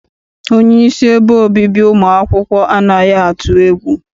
Onyeisi ebe obibi ụmụ akwụkwọ anaghị atụ egwu.